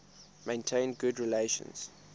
maintained good relations